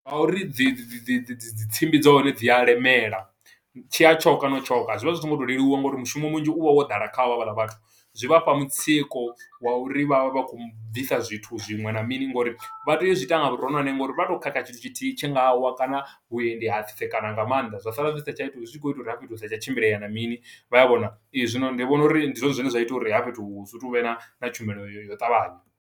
Ngauri dzi dzi dzi dzi dzi dzi tsimbi dza hone dzi a lemela, tshi ya tshoka na u tshoka. Zwi vha zwi so ngo to leluwa nga uri mushumo munzhi u vha wo ḓala kha vho, havhaḽa vhathu. Zwi vha fha mutsiko wa uri vha vha vha khou bvisa zwithu zwiṅwe na mini, ngo uri vha teya u zwiita nga vhuronwane, ngo uri vha to khakha tshithu tshithihi tshi nga wa, kana vhuendi hatsitsekana nga maanḓa. Zwa sala zwi sa tsha ita u, zwi tshi khou ita uri hafha fhethu hu sa tsha tshimbilea na mini, vha a vhona? Ee, zwino ndi vhona uri ndi zwone zwine zwa ita uri hafha fhethu hu si vhe na na tshumelo ya u ṱavhanya.